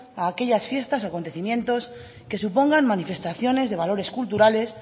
a aquellas fiestas o acontecimientos que supongan manifestaciones de valores culturales